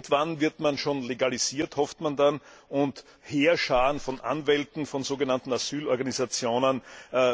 Irgendwann wird man schon legalisiert, hofft man dann, und Heerscharen von Anwälten von sogenannten Asylorganisationen